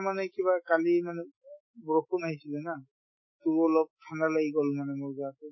মানে কিবা কালি মানে বৰষুণ আহিছিলে না to অলপ ঠাণ্ডা লাগি গল মানে মোৰ গাতো